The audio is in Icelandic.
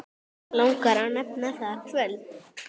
Langar að nefna það kvöld.